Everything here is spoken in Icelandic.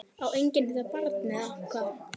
Á enginn þetta barn eða hvað?